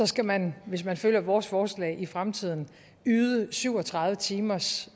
skal man hvis man følger vores forslag i fremtiden yde syv og tredive timers